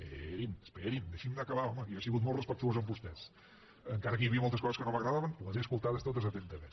esperin esperin deixin me acabar home que jo he sigut molt respectuós amb vostès encara que hi havia moltes coses que no m’agradaven les he escoltades totes atentament